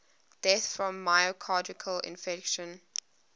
deaths from myocardial infarction